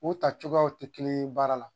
O ta cogoyaw tɛ kelen ye baara la